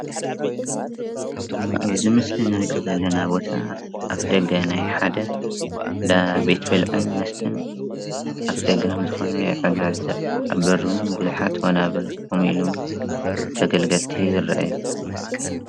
ኣብዚ ምስሊ እንርእዮ ዘለና ቦታ ኣፍ ደገ ናይ ሓደ እንዳ ቤት ብልዒ መስተን ኣፍ ደገ ከምዝኾነ ንዕዘብ ኣብ በሪ እውን ብዝሓት ወናብር ከምኢሉ ተገልገሊቲ ይኣርኣዩ።